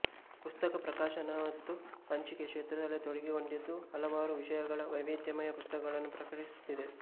ಪುಸ್ತಕ ಪ್ರಕಾಶನ ಮತ್ತು ಹಂಚಿಕೆಯ ಕ್ಷೇತ್ರದಲ್ಲಿ ತೊಡಗಿಕೊಂಡಿದ್ದು ಹಲವಾರು ವಿಷಯಗಳ ವೈವಿಧ್ಯಮಯ ಪುಸ್ತಕಗಳನ್ನು ಪ್ರಕಟಿಸುತ್ತಿದೆ